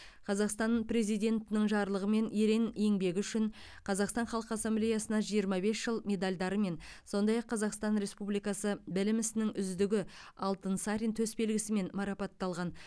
қазақстан президентінің жарлығымен ерен еңбегі үшін қазақстан халқы ассамблеясына жиырма бес жыл медалдарымен сондай ақ қазақстан республикасы білім ісінің үздігі алтынсарин төсбелгісімен марапатталған